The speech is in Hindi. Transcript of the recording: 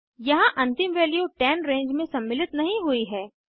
यहाँ अंतिम वैल्यू 10 रेंज में सम्मिलित नहीं हुई है